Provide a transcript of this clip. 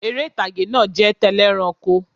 Eré ìtàgé náà jẹ́ tẹlẹ́ranko